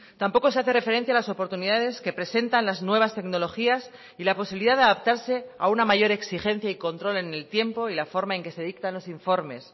tampoco se hace referencia las oportunidades que presentan las nuevas tecnologías y la posibilidad de adaptarse a una mayor exigencia y control en el tiempo y la forma en que se dictan los informes